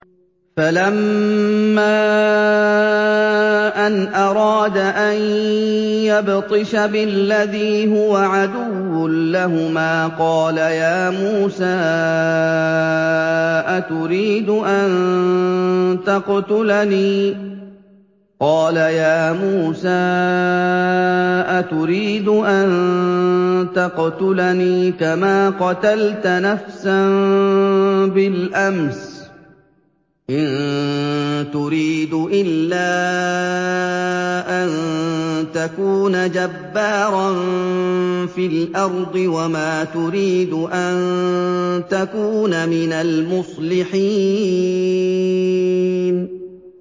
فَلَمَّا أَنْ أَرَادَ أَن يَبْطِشَ بِالَّذِي هُوَ عَدُوٌّ لَّهُمَا قَالَ يَا مُوسَىٰ أَتُرِيدُ أَن تَقْتُلَنِي كَمَا قَتَلْتَ نَفْسًا بِالْأَمْسِ ۖ إِن تُرِيدُ إِلَّا أَن تَكُونَ جَبَّارًا فِي الْأَرْضِ وَمَا تُرِيدُ أَن تَكُونَ مِنَ الْمُصْلِحِينَ